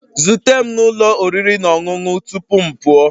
Zute m na ụlọ oriri na ọṅụṅụ tupu m pụọ